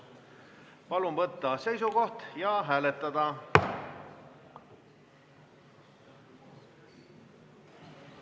Palun võtta seisukoht ja hääletada!